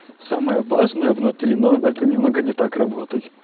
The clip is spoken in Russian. самое важное внутри но это немного не так работать